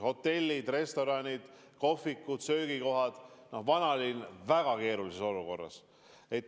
Hotellid, restoranid, kohvikud, muud söögikohad, vanalinn on väga keerulises olukorras.